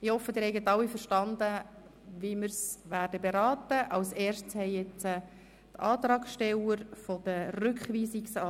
Ich hoffe, Sie haben alle verstanden, wie wir das Gesetz beraten werden.